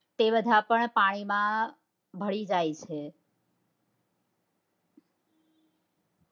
તે બધા પણ પાણી માં ભળી જાય છે